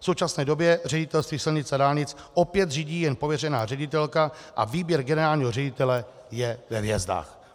V současné době Ředitelství silnic a dálnic opět řídí jen pověřená ředitelka a výběr generálního ředitele je ve hvězdách.